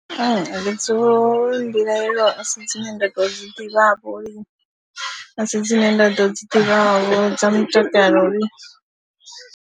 Dziṅwe mbilahelo a si dzine nda dzi ḓivhavho lini, a si dzine nda ḓo dzi ḓivhavho dza mutakalo lini.